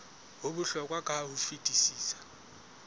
ho bohlokwa ka ho fetisisa